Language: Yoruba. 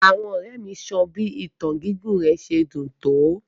Àwọn ọrẹ mi sọ bi ìtàn gigún rẹ ti dún to.